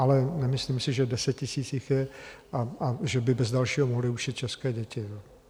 Ale nemyslím si, že 10 000 jich je a že by bez dalšího mohli učit české děti.